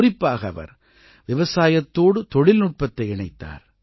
குறிப்பாக அவர் விவசாயத்தோடு தொழில்நுட்பத்தை இணைத்தார்